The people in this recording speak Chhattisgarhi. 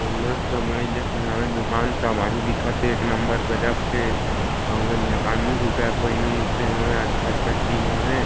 अऊ मस्त बड़े जनिक हवय दुकान तबाही दिखत हे एक नंबर गजब के अऊ एक झक आदमी स्वीटर पहिने उचे हवय अच्छा अच्छा चीज हवे।